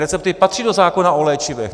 Recepty patří do zákona o léčivech.